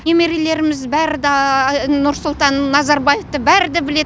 немерелеріміз бәрі да нұрсұлтан назарбаевты бәрі де біледі